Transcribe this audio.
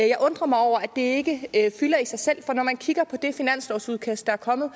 jeg undrer mig over at det ikke fylder i sig selv for når man kigger på det finanslovsudkast der er kommet